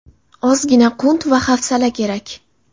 Ozgina qunt va hafsala kerak.